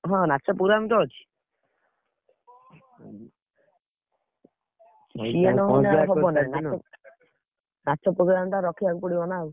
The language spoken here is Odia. ହଁ ନାଚ program ତ ଅଛି। ନାଚ program ଟା ରଖିଆକୁ ପଡିବ ନା ଆଉ।